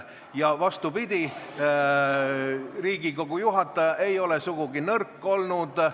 Ja vastupidi, Riigikogu juhataja ei ole sugugi nõrk olnud.